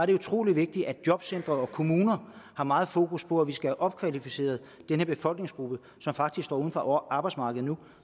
er utrolig vigtigt at jobcentre og kommuner har meget fokus på at vi skal have opkvalificeret den her befolkningsgruppe som faktisk står uden for arbejdsmarkedet nu